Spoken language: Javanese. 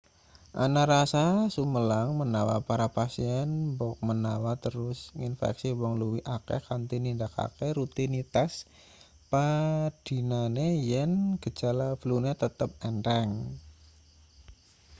ana rasa sumelang menawa para pasien mbokmenawa terus nginfeksi wong luwih akeh kanthi nindakake rutinitas padinane yen gejala flune tetep entheng